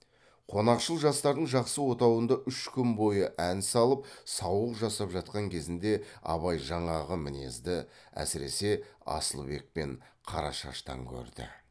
қонақшыл жастардың жақсы отауында үш күн бойы ән салып сауық жасап жатқан кезінде абай жаңағы мінезді әсіресе асылбек пен қарашаштан көрді